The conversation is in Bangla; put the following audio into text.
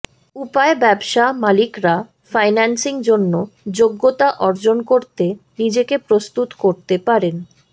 উপায় ব্যবসা মালিকরা ফাইন্যান্সিং জন্য যোগ্যতা অর্জন করতে নিজেকে প্রস্তুত করতে পারেন